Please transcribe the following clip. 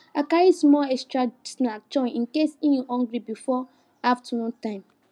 i carry small extra snack join in case e hungry before afternoon time